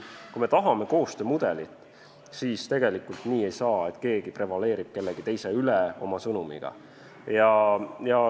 Kui me tahame koostöömudelit, siis tegelikult nii ei saa, et keegi prevaleerib kellegi teise üle oma sõnumiga.